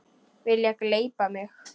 Vilja gleypa mig.